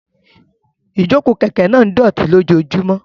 Ìjókòó kẹ̀kẹ́ náà ń dọ̀tí lójoojúmọ́.